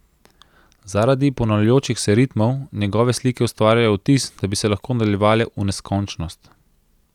Zaradi ponavljajočih se ritmov njegove slike ustvarjajo vtis, da bi se lahko nadaljevale v neskončnost.